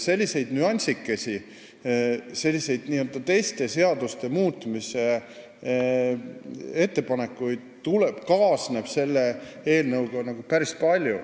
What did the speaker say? Selliseid nüansikesi ja teiste seaduste muutmise ettepanekuid kaasneb selle eelnõuga päris palju.